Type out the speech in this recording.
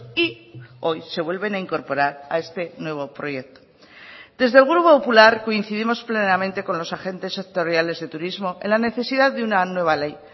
y hoy se vuelven a incorporar a este nuevo proyecto desde el grupo popular coincidimos plenamente con los agentes sectoriales de turismo en la necesidad de una nueva ley